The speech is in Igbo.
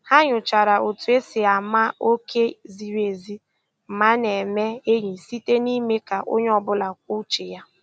Ha nyochara otu e si ama oké ziri ezi ma a na-eme enyi, site n'ime ka onye ọ bụla kwuo uche ya